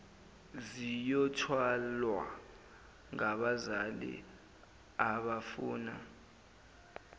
ziyothwalwa ngabazali abafuna